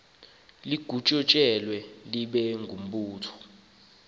litshintshe libe ngumbutho